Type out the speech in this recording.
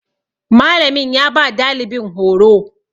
Malamin ya ba dalibin horo